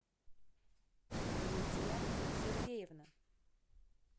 лидия сергеевна